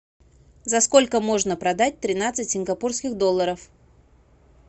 за сколько можно продать тринадцать сингапурских долларов